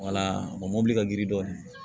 mobili ka girin dɔɔnin